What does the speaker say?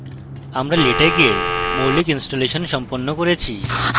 আমরা latex we মৌলিক installation সম্পন্ন করেছি